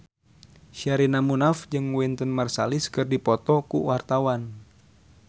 Sherina Munaf jeung Wynton Marsalis keur dipoto ku wartawan